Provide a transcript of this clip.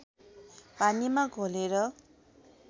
पानीमा घोलेर